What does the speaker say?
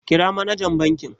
Kira manajan bankin.